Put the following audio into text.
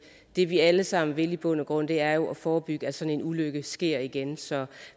det vi alle sammen i bund og grund vil er jo at forebygge at sådan en ulykke sker igen så